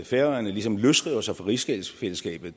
færøerne ligesom løsriver sig fra rigsfællesskabet